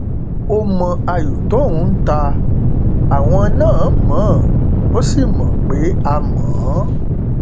ó mọ ayọ tóun ń ta àwọn náà mọ ọn ó sì mọ pé a mọ ọn